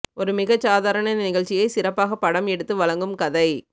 ஒரு மிகச் சாதாரண நிகழ்ச்சியை சிறப்பாகப் படம் எடுத்து வழங்கும் கதை